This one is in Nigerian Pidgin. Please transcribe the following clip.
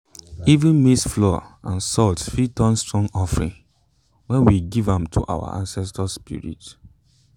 even maize flour and salt fit turn strong offering when we give am to our ancestors spirits.